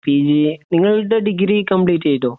P ജിയെ നിങ്ങളുടെ degree complete ചെയ്തോ